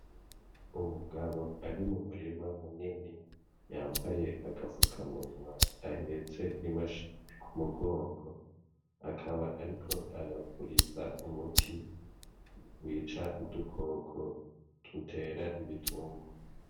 Umugabo ari mu murima munini yambaye agapfukamunwa, ahetse imashini ku mugongo akaba ariko arapuriza umuti wica udukoko dutera ibitungwa.